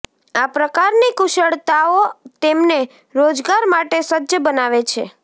આ પ્રકારની કુશળતાઓ તેમને રોજગાર માટે સજ્જ બનાવે છે